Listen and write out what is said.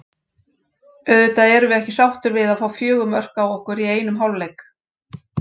Auðvitað erum við ekki sáttir við að fá fjögur mörk á okkur í einum hálfleik.